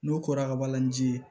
N'o kora ka balani ji ye